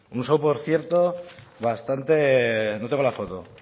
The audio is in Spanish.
un show por cierto bastante no tengo la foto